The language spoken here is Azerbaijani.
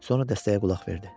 Sonra dəstəyə qulaq verdi.